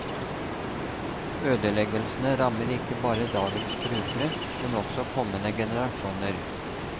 Ødeleggelsene rammer ikke bare dagens brukere, men også kommende generasjoner.